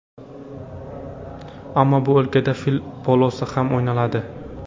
Ammo bu o‘lkada fil polosi ham o‘ynaladi.